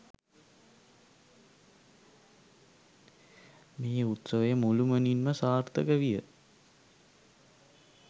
මේ උත්සවය මුළුමනින්ම සාර්ථක විය.